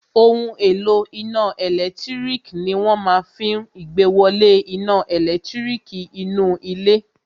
Ohun èlò iná ẹ̀lẹ́tírík ní wọ́n máa fí n ìgbéwolé iná ẹlẹtíríkì nínú ilé